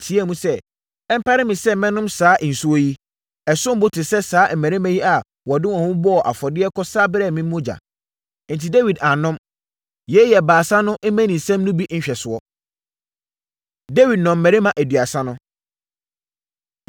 teaam sɛ, “Ɛmpare me sɛ mɛnom saa nsuo yi. Ɛsom bo te sɛ saa mmarima yi a wɔde wɔn ho bɔɔ afɔdeɛ kɔsa brɛɛ me no mogya.” Enti, Dawid annom. Yei yɛ Baasa no mmaninsɛm no bi nhwɛsoɔ. Dawid Nnɔmmarima Aduasa No